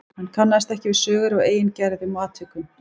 Hann kannast ekki við sögur af eigin gerðum og atvikum.